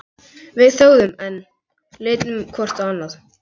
Við þögðum enn, litum hvort á annað.